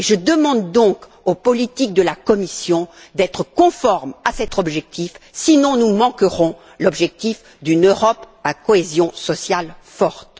Je demande donc aux politiques de la Commission d'être conformes à cet objectif sinon nous manquerons l'objectif d'une Europe à cohésion sociale forte.